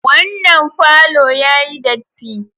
Wannan falo yayi datti.